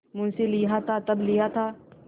मुंशीलिया था तब लिया था